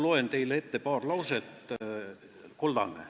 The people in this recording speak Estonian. Ma loen teile siit ette paar lauset.